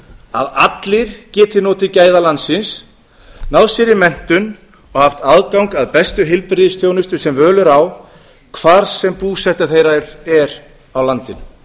að allir geti notið gæða landsins náð sér í menntun og haft aðgang að bestu heilbrigðisþjónustu sem völ er á hvar sem búseta þeirra er á landinu